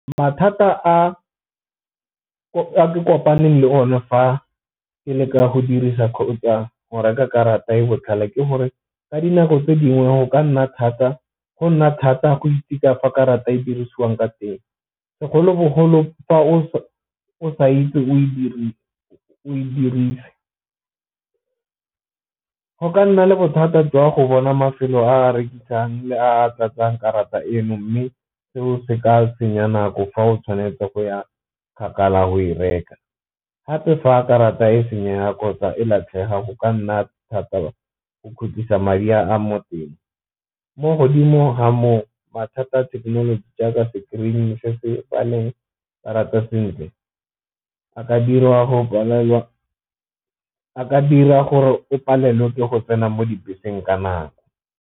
Mathata a ke kopaneng le one fa ke leka go dirisa a go reka karata e e botlhale ke gore, ka dinako tse dingwe go nna thata go itekanya karata e dirisiwang ka teng, segolobogolo fa o sa itse o e dirise. Go ka nna le bothata jwa go bona mafelo a rekisang le a tlatsang karata eno mme seo se ka senya nako fa o tshwanetse go ya kgakala go e reka, gape fa a karata e senya kgotsa e latlhega go ka nna thata go kgutlisa madi a mo teng. Mo godimo ga moo mathata thekenoloji jaaka screen-e se se karata sentle a ka dira gore o palelwe ke go tsena mo dibeseng ka nako.